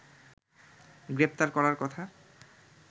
গ্রেপ্তার করার কথা